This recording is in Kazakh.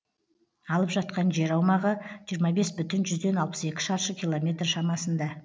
алып жатқан жер аумағы жиырма бес бүтін жүзден алпыс екі шаршы километр шамасында